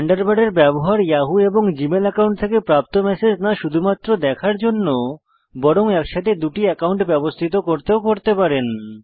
থান্ডারবার্ডের ব্যবহার ইয়াহু এবং Gmail account থেকে প্রাপ্ত ম্যাসেজ না শুধুমাত্র দেখার জন্য বরং একসাথে দুটি অ্যাকাউন্ট ব্যবস্থিত করতেও করতে পারেন